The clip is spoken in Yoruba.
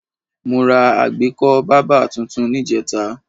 Mo ra àgbékọ́ bábà tuntun níjẹta